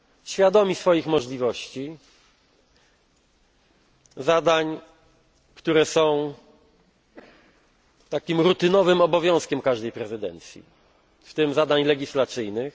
świadomi swoich możliwości zadań, które są rutynowym obowiązkiem każdej prezydencji, w tym zadań legislacyjnych.